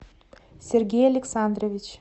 сергей александрович